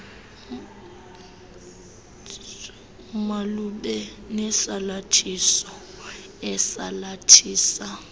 malube nesalathiso esalathisa